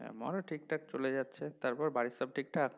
আমারও ঠিকঠাক চলে যাচ্ছে, তারপর বাড়ির সব ঠিকঠাক?